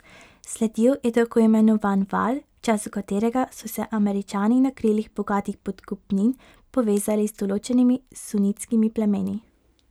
Sledil je tako imenovan val, v času katerega so se Američani na krilih bogatih podkupnin povezali z določenimi sunitskimi plemeni.